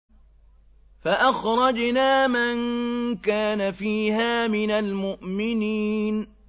فَأَخْرَجْنَا مَن كَانَ فِيهَا مِنَ الْمُؤْمِنِينَ